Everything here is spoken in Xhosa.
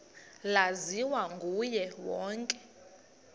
laziwa nguye wonke